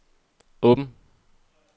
åben